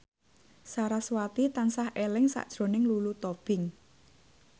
sarasvati tansah eling sakjroning Lulu Tobing